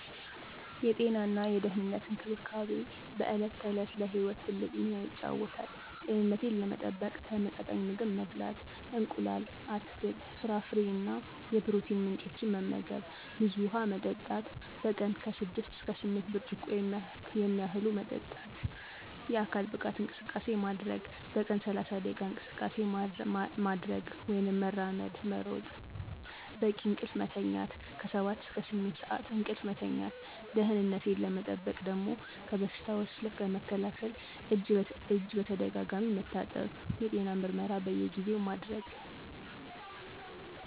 የጤናና የደህንነት እንክብካቤ በዕለት ተዕለት ለሕይወት ትልቅ ሚና ይጫወታል። ጤንነቴን ለመጠበቅ ተመጣጣኝ ምግብ መብላት: እንቁላል፣ አትክልት፣ ፍራፍሬ እና የፕሮቲን ምንጮች መመገብ፣ ብዙ ውሃ መጠጣት: በቀን 6–8 ብርጭቆ የሚያህሉ መጠጣት፣ የአካል ብቃት እንቅስቃሴ ማድረግ: በቀን 30 ደቂቃ እንቅስቃሴ ማድረግ (መራመድ፣ መሮጥ) ፣ በቂ እንቅልፍ መተኛት 7–8 ሰዓት እንቅልፍ መተኛት። ደህነቴን ለመጠበቅ ደሞ ከበሽታዎች ለመከላከል እጅ በተደጋጋሚ መታጠብ፣ የጤና ምርመራ በየጊዜው ማድረግ።